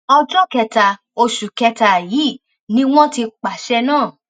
ọjọ kẹta oṣù kẹta yìí ni wọn ti pàṣẹ náà